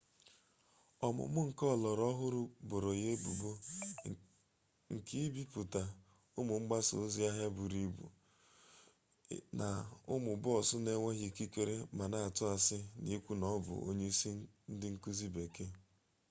ọmụmụ nke ọlọrọ ọhụrụ boro ya ebubo nke ibipụta ụmụ mgbasa ozi ahịa buru ibu n'ụmụ bọọsụ na-enweghị ikikere ma na-atụ asị n'ikwu na ọ bụ onye isi ndị nkuzi bekee